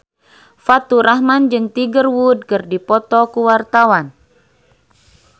Faturrahman jeung Tiger Wood keur dipoto ku wartawan